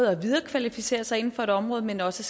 at viderekvalificere sig inden for et område men også